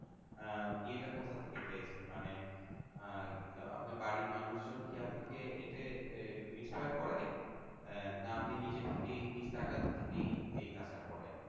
আহ ইয়ে টা কোথা থেকে পেয়েছেন মানে আহ আপনার বাড়ির মানুষজন কি আপনাকে এতে Inspire করে আহ না আপনি নিজে থেকেই নিজ তাগাদা থেকেই এই কাজ টা করেন?